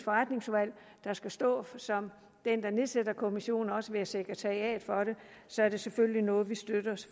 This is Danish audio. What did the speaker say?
der skal stå som dem der nedsætter kommissionen og også være sekretariat for den så er det selvfølgelig noget vi støtter